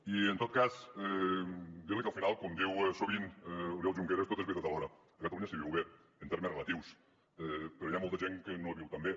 i en tot cas dir li que al final com diu sovint oriol junqueras tot és veritat alhora a catalunya s’hi viu bé en termes relatius però hi ha molta gent que no hi viu tan bé